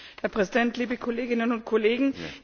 Herr Präsident, liebe Kolleginnen und Kollegen!